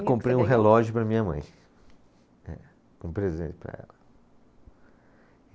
Comprei um relógio para a minha mãe, eh, um presente para ela.